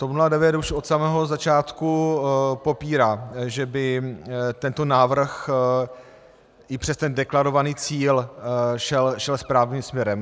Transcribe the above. TOP 09 už od samého začátku popírá, že by tento návrh i přes ten deklarovaný cíl šel správným směrem.